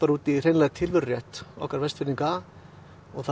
út í tilverurétt okkar Vestfirðinga það